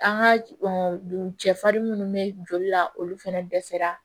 An ka cɛ fari munnu bɛ joli la olu fɛnɛ dɛsɛra